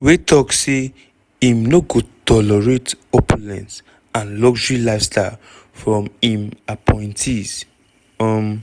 wey tok say im no go tolerate opulence and luxury lifestyle from im appointees. um